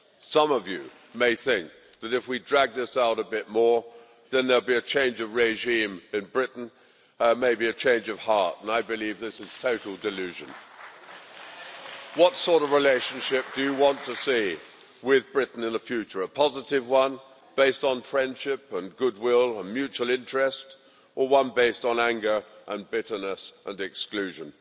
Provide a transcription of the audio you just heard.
Some of you may think that if we drag this out a bit more then there'll be a change of regime in Britain, maybe a change of heart, but I believe this is total delusion. What sort of relationship do you want to see with Britain in the future a positive one based on friendship and goodwill and mutual interest, or one based on anger and bitterness and exclusion?